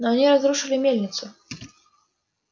но они разрушили мельницу